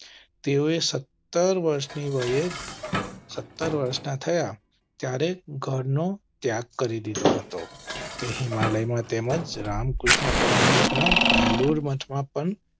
તેઓએ સત્તર વર્ષની વયે સત્તર વર્ષના થયા ત્યારે ઘર નો ત્યાગ કરી દીધો હતો. તે હિમાલયમાં તેમજ રામકૃષ્ણ પરમહંસના બેલુર મઠ માં પણ